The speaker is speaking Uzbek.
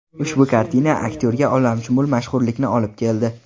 Ushbu kartina aktyorga olamshumul mashhurlikni olib keldi.